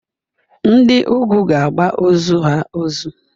Ndi ugwu ga-agba ozu ha ozu.